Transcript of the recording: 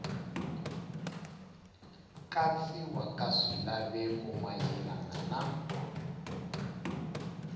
katsiwa ka swilaveko mayelana na